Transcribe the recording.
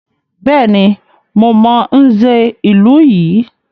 Bẹ́ẹ̀ni, mo mọ Nze ìlú yìí.